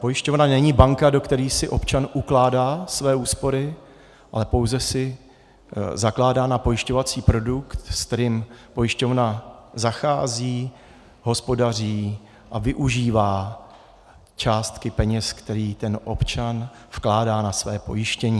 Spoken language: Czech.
Pojišťovna není banka, do které si občan ukládá své úspory, ale pouze si zakládá na pojišťovací produkt, se kterým pojišťovna zachází, hospodaří a využívá částky peněz, které ten občan vkládá na své pojištění.